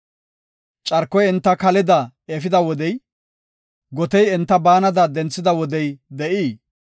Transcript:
Carkoy enta kaleda efida wodey, Gotey enta baanada denthida wodey de7ii?